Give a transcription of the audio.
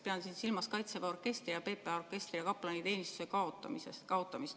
Pean siin silmas kaitseväe orkestri ja PPA orkestri ning kaplanteenistuse kaotamist.